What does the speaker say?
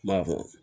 N b'a fɔ